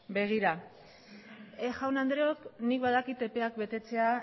begira jaun andreok nik badakit epeak betetzea